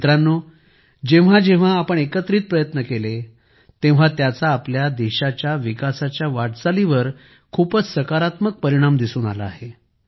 मित्रांनो जेव्हा जेव्हा आपण एकत्रित प्रयत्न केले तेव्हा त्याचा आपल्या देशाच्या विकासच्या वाटचालीवर खूपच सकारात्मक परिणाम दिसून आला आहे